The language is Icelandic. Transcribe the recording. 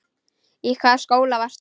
Í hvaða skóla varstu?